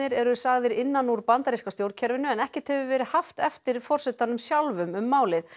eru sagðir innan úr bandaríska stjórnkerfinu en ekkert hefur verið haft eftir forsetanum sjálfum um málið